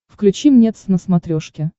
включи мне твз на смотрешке